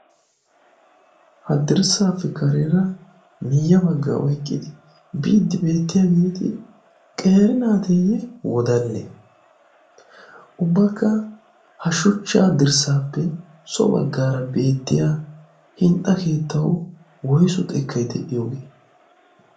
hadirssaappe kareera miyya baggaa oyqqidi biiddi beettiya geeti qere naateeyye wodanne ubbakka ha shuchchaa dirssaappe so baggaara beettiya hinxxa keettau woysu xekkay de'iyoogee?